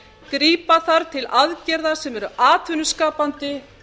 grípa þarf til aðgerða sem eru atvinnuskapandi